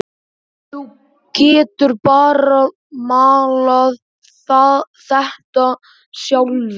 Þú getur bara maulað þetta sjálfur!